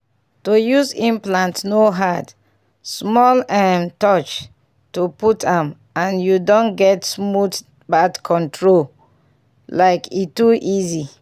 to use implant no hard — small um touch to put m and you don get smooth birth control like e too easy.